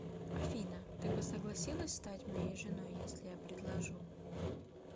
афина ты бы согласилась стать моей женой если я предложу